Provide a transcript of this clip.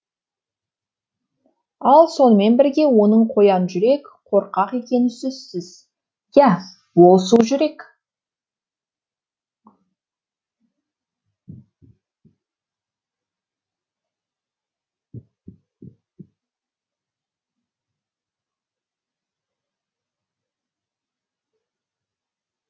ал сонымен бірге оның қоян жүрек қорқақ екені сөзсіз я ол су жүрек